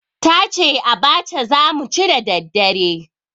Ta ce abacha za mu ci da daddare.